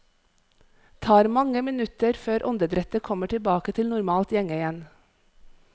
Tar mange minutter før åndedrettet kommer tilbake til normalt gjenge igjen.